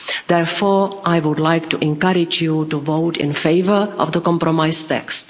Therefore, I would like to encourage you to vote in favour of the compromise text.